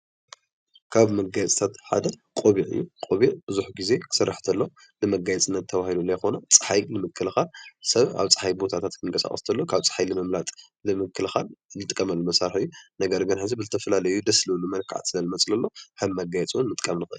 ካብ መጋየፅታት ሓደ ቆቢዕ እዩ ቆቢዕ ብዙሕ ግዜ ክስራሕ ተሎ ንመጋየፂ እናተበሃለ ለይኮነ ፀሓይ ንምክልካል ሰብ ኣብ ፀሓይ ቦታታት ክንቐሳቀስ ከሎ ካብ ፀሓይ ንምምላጥ ንምክልካል ንጥቀመሎም መሳርሒ ኤእዩ ።ነገር ግን ሕዚ ብዝተፈላለዩ ደስ ብልብሉ መልክዕ ከም መጋየፂ ውን ንጥቃም ንኽእል።